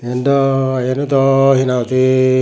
iben dw iyeno dow he nang hoi di.